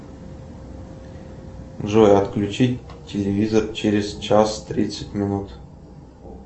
джой отключить телевизор через час тридцать минут